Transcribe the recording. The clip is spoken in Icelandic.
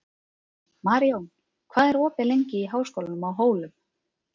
Maríon, hvað er opið lengi í Háskólanum á Hólum?